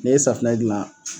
Ne ye safinɛ gilan